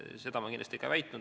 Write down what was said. Seda ma kindlasti ei väitnud.